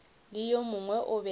le yo mongwe o be